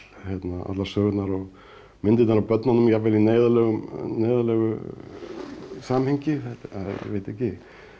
allar sögurnar og myndirnar af börnunum jafnvel í neyðarlegu neyðarlegu samhengi ég veit ekki